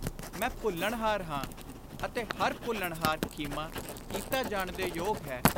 ਮੈਂ ਭੁੱਲਣਹਾਰ ਹਾਂ ਅਤੇ ਹਰ ਭੁੱਲਣਹਾਰ ਖਿਮਾ ਕੀਤਾ ਜਾਣ ਦੇ ਯੋਗ ਹੈ।